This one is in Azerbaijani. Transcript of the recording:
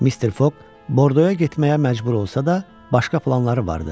Mister Foq Bordoya getməyə məcbur olsa da, başqa planları vardı.